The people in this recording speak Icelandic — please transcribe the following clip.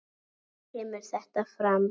kemur þetta fram